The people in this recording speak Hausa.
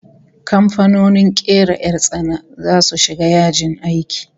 Kamfanonin kera 'yar tsana zasu shiga yajin aiki